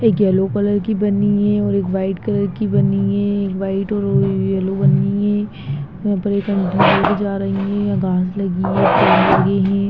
एक yellow colour की बनी हुई है और एक वाइट कलर की बनी हुई है एक वाइट और येलो बनी हुई है यहाँ पर एक आंटी लोग भी जा रहीं हैं घास लगी है पेड़ लगे हैं।